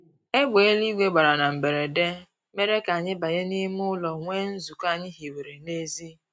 Egbe eluigwe gbara na mberede mere k'anyị banye n'ime ụlọ nwee nzukọ anyị hiwere n'ezi